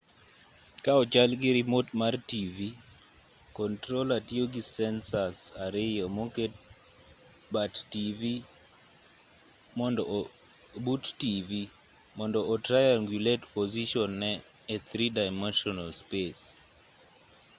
ka ochalgi rimot mar tivi controller tiyogi sensors ariyo moket but tivi mond o triangulate position ne e three dimensional space